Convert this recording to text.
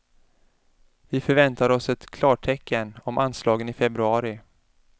Vi förväntar oss ett klartecken om anslagen i februari.